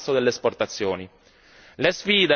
Le sfide per l'Europa sono immense.